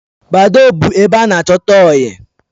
Badoo but ebe ana achota oyi